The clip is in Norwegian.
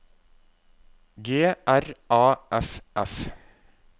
G R A F F